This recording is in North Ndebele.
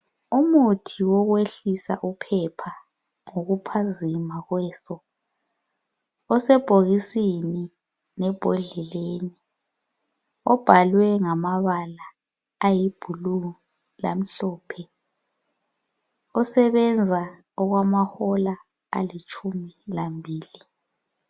Umuthi wokwehlisa uphepha ngokuphazima kweso osebhokisini lebhondleleni obhalwe ngamabala ayibhulu lamhlophe osebenza okwama hola alitshumi lambili